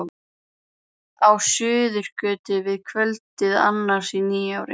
Á Suðurgötu að kvöldi annars í nýári.